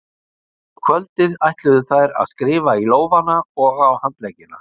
Um kvöldið ætluðu þær að skrifa í lófana og á handleggina.